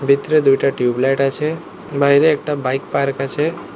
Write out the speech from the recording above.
ভিতরে দুইটা টিউবলাইট আছে বাইরে একটা বাইক পার্ক আছে।